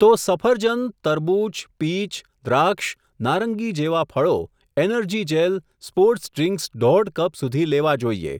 તો સફરજન, તરબૂચ, પીચ, દ્રાક્ષ, નારંગી જેવા ફળો, એનર્જી જેલ, સ્પોર્ટસ ડ્રીકસ દોઢ કપ સુધી લેવા જોઈએ.